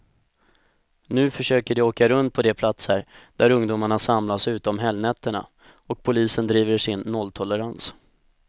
Nu försöker de åka runt på de platser där ungdomarna samlas ute om helgnätterna, och polisen driver sin nolltolerans.